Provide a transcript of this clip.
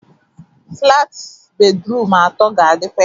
Flat bedrum atoo ga-adikwa ebe ahụ.